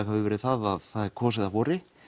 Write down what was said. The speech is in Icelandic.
hefur verið að það er kosið að vori